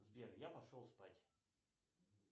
сбер я пошел спать